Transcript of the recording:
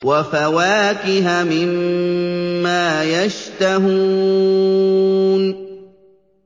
وَفَوَاكِهَ مِمَّا يَشْتَهُونَ